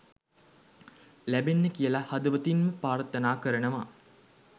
ලැබෙන්න කියලා හදවතින්ම ප්‍රර්ථනා කරනවා